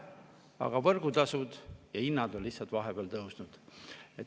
Aga võrgutasud ja hinnad on vahepeal tõusnud.